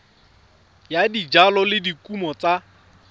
ya dijalo le dikumo tsa